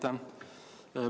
Aitäh!